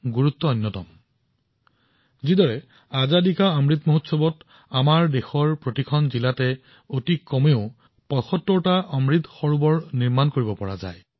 উদাহৰণ স্বৰূপে স্বাধীনতাৰ অমৃত মহোৎসৱৰ সময়ত আমাৰ দেশৰ প্ৰতিখন জিলাত কমেও ৭৫টা অমৃত সৰোবৰ নিৰ্মাণ কৰিব পাৰি